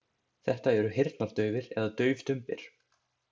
Þetta eru heyrnardaufir eða daufdumbir.